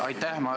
Aitäh!